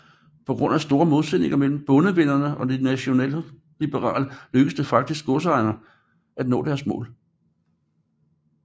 På grund af store modsætninger mellem Bondevennerne og De Nationalliberale lykkedes det faktisk godsejerne at nå deres mål